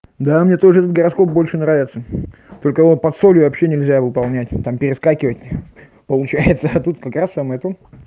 да мне тоже этот гороскоп больше нравится только вот под солью вообще нельзя его выполнять там перескакивать получается а тут как раз самое это